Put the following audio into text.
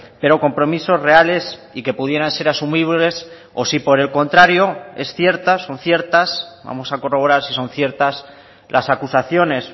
pero compromisos reales y que pudieran ser asumibles o si por el contrario es cierta son ciertas vamos a corroborar si son ciertas las acusaciones